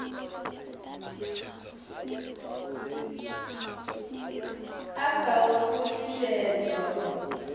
a sa ofhi u shushedzwa